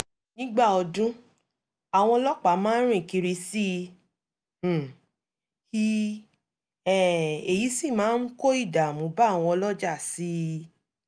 nígbà ọdún àwọn ọlọ́pàá máa rìn kiri sií um i um èyí sì máa ń kó ìdààmú bá àwọn ọlọ́jà síi